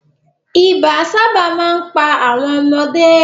Ibà sábà máa ń pa àwọn ọmọdé